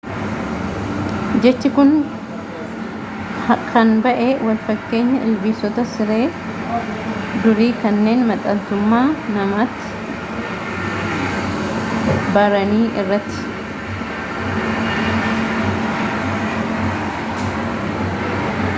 jechi kun han bahe walfakkeenya ilbiisota siree durii kanneen maxxantummaa namaatti barani irraati